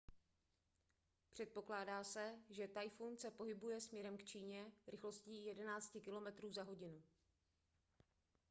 předpokládá se že tajfun se pohybuje směrem k číně rychlostí 11 km/h